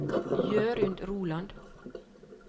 Jørund Roland